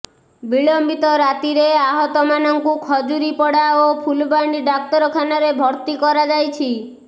ବିଳମ୍ବିତ ରାତିରେ ଆହତମାନଙ୍କୁ ଖଜୁରୀପଡ଼ା ଓ ଫୁଲବାଣୀ ଡାକ୍ତରଖାନାରେ ଭର୍ତ୍ତି କରାଯାଇଛି